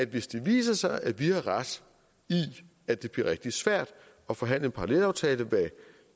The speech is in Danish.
hvis det viser sig at vi har ret i at det bliver rigtig svært at forhandle en parallelaftale hvad